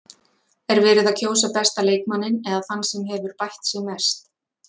Er verið að kjósa besta leikmanninn eða þann sem hefur bætt sig mest?